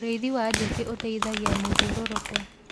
ũrĩithi wa njũũkĩ uteithagia mathiururuko